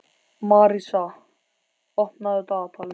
Marísa, opnaðu dagatalið mitt.